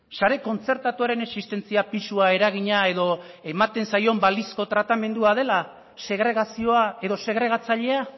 sare kontzertatuaren existentzia pisua eragina edo ematen zaion balizko tratamendua dela segregazioa edo segregatzailea